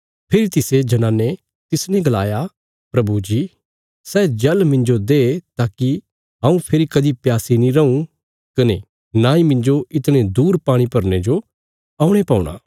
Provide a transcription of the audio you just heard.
फेरी तिसे जनाने तिसने गलाया प्रभु जी सै जल मिन्जो दे ताकि हऊँ फेरी कदीं प्यासी नीं रऊँ कने नांई मिन्जो इतणे दूर पाणी भरने जो औणे पौ